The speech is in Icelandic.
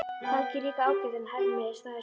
Helgi er líka ágætur en Hemmi er sætari.